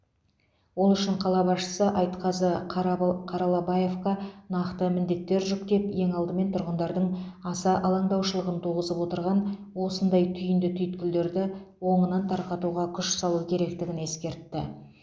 ол үшін қала басшысы айтқазы қарабал қаралабаевқа нақты міндеттер жүктеп ең алдымен тұрғындардың аса алаңдаушылығын туғызып отырған осындай түйінді түйткілдерді оңынан тарқатуға күш салу керектігін ескертті